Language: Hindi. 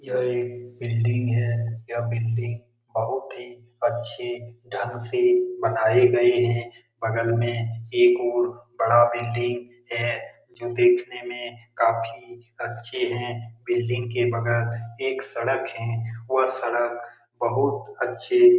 यह एक बिल्डिंग हैं यह बिल्डिंग बहुत ही अच्छे ढंग से बनाई गयी है बगल में एक और बड़ा बिल्डिंग है जो देखने में काफी अच्छे हैं बिल्डिंग के बगल में एक सड़क है और सड़क बहुत अच्छी --